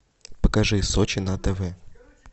покажи сочи на тв